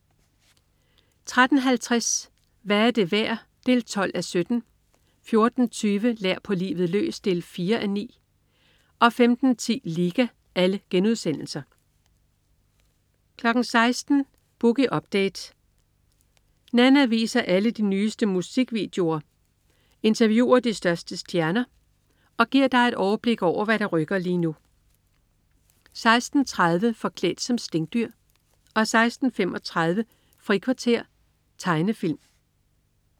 13.50 Hvad er det værd? 12:17* 14.20 Lær på livet løs 4:9* 15.10 Liga* 16.00 Boogie Update. Nanna viser alle de nyeste musikvideoer, interviewer de største stjerner og giver dig overblik over, hvad der rykker lige nu 16.30 Forklædt som stinkdyr 16.35 Frikvarter. Tegnefilm